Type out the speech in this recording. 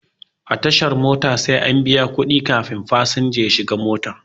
A tashar mota sai an biya kuɗi kafin fasinja ya shiga mota.